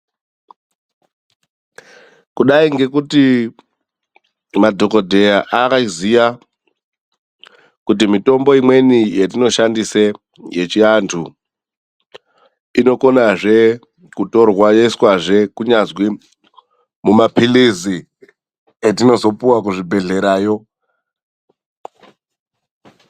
Kudai ngekuti madhokodheya ayiziya kuti mitombo imweni yetinoshandise yechiantu inokonazve kutorwa yoiswazve kunyazwi mumaphirizi atinozopihwa kuzvibhedhlera yoo.